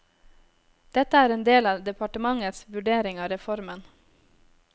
Dette er en del av departementets vurdering av reformen.